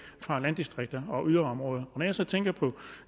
fra landdistrikter og yderområder når jeg så tænker på